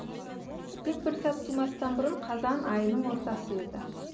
тек бір сәт тумастан бұрын қазан айының ортасы еді